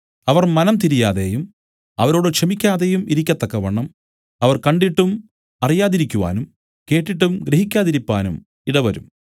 അവർ മനം തിരിയാതെയും അവരോട് ക്ഷമിക്കാതെയും ഇരിക്കത്തക്കവണ്ണം അവർ കണ്ടിട്ടും അറിയാതിരിക്കുവാനും കേട്ടിട്ടും ഗ്രഹിക്കാതിരിപ്പാനും ഇടവരും